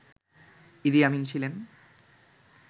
ইদি Amin ছিলেন